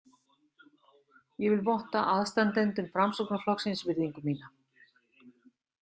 Ég vil votta aðstandendum Framsóknarflokksins virðingu mína.